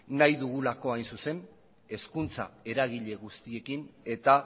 nahi dugulako hain zuzen hezkuntza eragile guztiekin eta